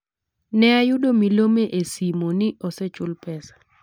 Ne ayudo milome e simo ni osuchul pesa.